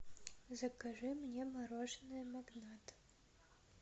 закажи мне мороженое магнат